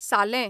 सालें